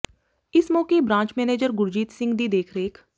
ਇਸ ਮੌਕੇ branch manager Gurjeet Singh ਦੀ ਦੇਖ ਰੇਖ